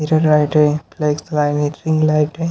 इधर लाइट हैं लाइट हैं।